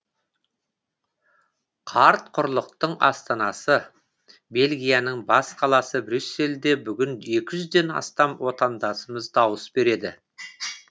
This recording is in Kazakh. қарт құрлықтың астанасы бельгияның бас қаласы брюссельде бүгін екі жүзден астам отандасымыз дауыс береді